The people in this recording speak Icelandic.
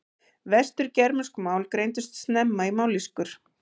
Vestur-germönsk mál greindust snemma í mállýskur.